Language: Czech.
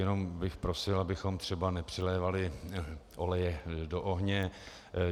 Jenom bych prosil, abychom třeba nepřilévali oleje do ohně.